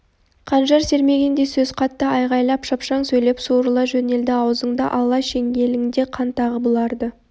қанжар сермегендей сөз қатты айғайлап шапшаң сөйлеп суырыла жөнелді аузыңда алла шеңгеліңде қан тағы бұларды